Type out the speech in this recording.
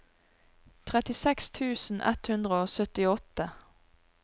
trettiseks tusen ett hundre og syttiåtte